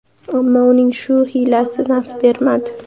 Ammo uning bu hiylasi naf bermadi.